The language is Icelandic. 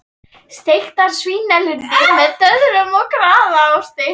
Steiktar svínalundir með döðlum og gráðaosti